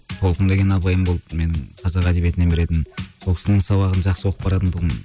толқын деген апайым болды менің қазақ әдебиетінен беретін сол кісінің сабағын жақсы оқып баратын тұғым